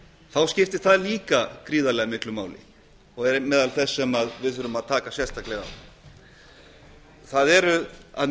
þá skiptir það líka gríðarlega miklu máli og er meðal þess sem við þurfum að taka sérstaklega á það eru að